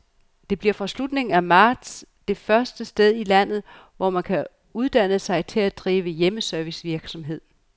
Det bliver fra slutningen af marts det første sted i landet, hvor man kan uddanne sig til at drive hjemmeservicevirksomhed.